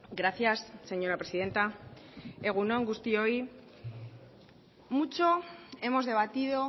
gracias señora presidenta egun on guztioi mucho hemos debatido